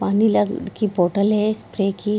पानी की बॉटल है स्प्रे की।